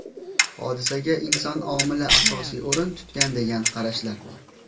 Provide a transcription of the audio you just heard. Hodisaga inson omili asosiy o‘rin tutgan degan qarashlar bor.